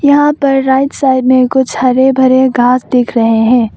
यहां पर right side में कुछ हरे भरे घास दिख रहे हैं।